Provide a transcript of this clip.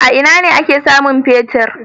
A ina ake samun fetir?